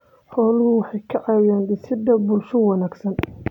Xooluhu waxay ka caawiyaan dhisidda bulsho wanaagsan.